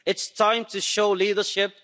It's time to show leadership.